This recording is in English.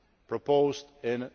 proposed in